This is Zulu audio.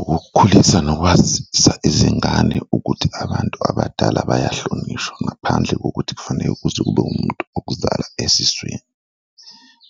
Ukukhulisa nokwazisa izingane ukuthi abantu abadala bayahlonishwa ngaphandle kokuthi kufaneke kuze ube umuntu okuzala esiswini